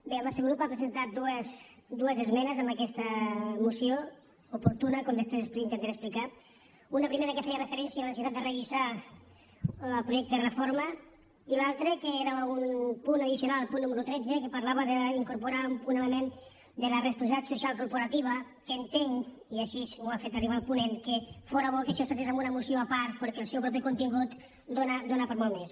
bé el nostre grup ha presentat dues esmenes a aquesta moció oportuna com després intentaré explicar una primera que feia referència a la necessitat de revisar el projecte de reforma i l’altra que era un punt addicional el punt número tretze que parlava d’incorporar un element de la responsabilitat social corporativa que entenc i així m’ho ha fet arribar el ponent que fóra bo que això es tractés en una moció a part perquè el seu propi contingut dóna per a molt més